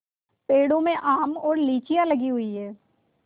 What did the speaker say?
पेड़ों में आम और लीचियाँ लगी हुई हैं